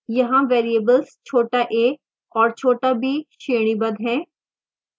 यहाँ variables छोटा a और छोटा b श्रेणीबद्ध हैं